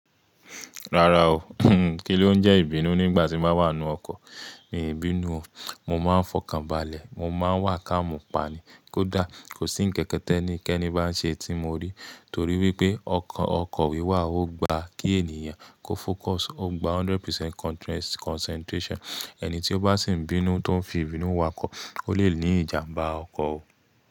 Rárá o, kí ló ń jẹ́ ìbínú nígbà tí mo bá wà nù ọkọ̀? I hin bínú o. Mo máa ń fọkàn balẹ̀, mo máa ń wà ká mú pa ni. Kódà kò sí ńkankan ti eníkẹ́ni bá ń ṣe tí mo rí. Torí wípé ọkọ̀ wíwà ò gba kí ènìyàn kó focus, ó gba hundred percent concentration. Ẹni tí ó bá sì ń bínú tó ń fi ìbínú wa ọkọ̀, ó lè ní ìjàmbá ọkọ̀ o.